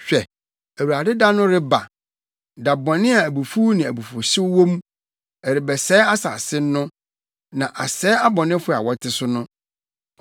Hwɛ, Awurade da no reba da bɔne a abufuw ne abufuwhyew wɔ mu, ɛrebɛsɛe asase no na asɛe abɔnefo a wɔte so no.